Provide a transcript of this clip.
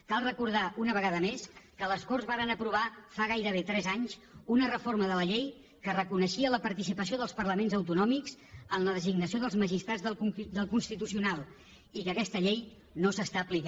cal recordar una vegada més que les corts varen aprovar fa gairebé tres anys una reforma de la llei que reconeixia la participació dels parlaments autonòmics en la designació dels magistrats del constitucional i que aquesta llei no s’aplica